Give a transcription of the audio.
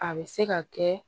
A bɛ se ka kɛ